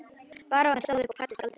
Baróninn stóð upp og kvaddi skáldið.